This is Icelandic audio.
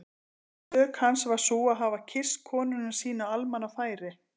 Sök hans var sú að hafa kysst konuna sína á almannafæri!